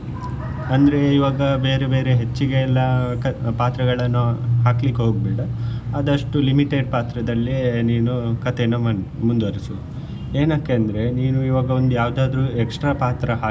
ಅಂದ್ರೆ ಇವಾಗ ಬೇರೆ ಬೇರೆ ಹೆಚ್ಚಿಗೆ ಎಲ್ಲ ಪಾತ್ರಗಳನ್ನು ಹಾಕ್ಲಿಕ್ಕೆ ಹೋಗ್ಬೇಡ ಆದಷ್ಟು limited ಪಾತ್ರದಲ್ಲಿಯೇ ನೀನು ಕಥೆಯನ್ನು ಮು~ಮುಂದುವರಿಸು ಏನಕ್ಕೆ ಅಂದ್ರೆ ನೀನು ಈವಾಗ ಒಂದು ಯಾವ್ದಾದ್ರು extra ಪಾತ್ರ ಹಾಕಿದ್ರೆ.